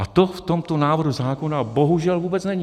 A to v tomto návrhu zákona bohužel vůbec není.